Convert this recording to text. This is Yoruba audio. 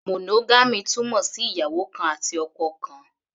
Monogamy túmọ̀ sí ìyàwó kan àti ọkọ kan.